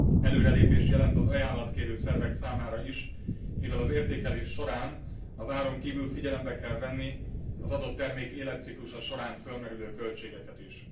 Előrelépést jelent az ajánlatkérő szervek számára is, mivel az értékelés során az áron kívül figyelembe kell venni az adott termék életciklusa során fölmerülő költségeket is.